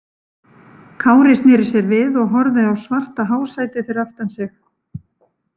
Kári sneri sér við og horfði á svarta hásætið fyrir aftan sig.